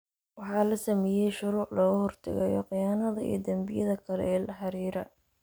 Waxaa la sameeyay shuruuc looga hortagayo khiyaanada iyo dambiyada kale ee la xiriira.